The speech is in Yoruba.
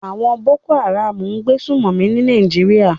Àwon Boko Haram n gbé sùmòmí ní Naijiria